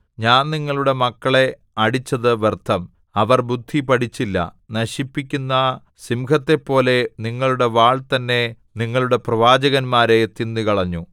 ഞാൻ നിങ്ങളുടെ മക്കളെ അടിച്ചതു വ്യർത്ഥം അവർ ബുദ്ധി പഠിച്ചില്ല നശിപ്പിക്കുന്ന സിംഹത്തെപ്പോലെ നിങ്ങളുടെ വാൾ തന്നെ നിങ്ങളുടെ പ്രവാചകന്മാരെ തിന്നുകളഞ്ഞു